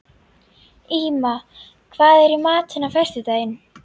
Íma, hvað er í matinn á föstudaginn?